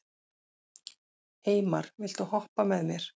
Eymar, viltu hoppa með mér?